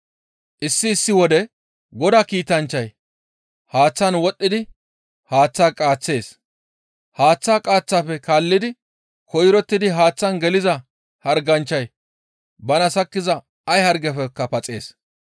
Issi issi wode Godaa kiitanchchay haaththaan wodhdhidi haaththa qaaththees; haaththaa qaaththafe kaallidi koyrottidi haaththaan geliza harganchchay bana sakkiza ay hargefekka paxees.